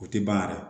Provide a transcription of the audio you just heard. O tɛ ban yɛrɛ